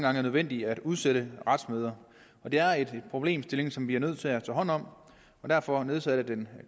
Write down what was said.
er nødvendigt at udsætte retsmøder det er en problemstilling som vi er nødt til at tage hånd om og derfor nedsatte den